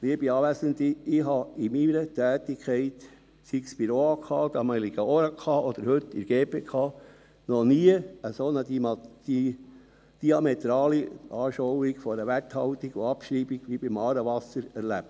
Liebe Anwesende, ich habe in meiner Tätigkeit, sei es bei der damaligen Oberaufsichtskommission (OAK) oder heute in der GPK, noch nie eine solch diametrale Anschauung einer Werthaltung und Abschreibung wie bei «Aarewasser» erlebt.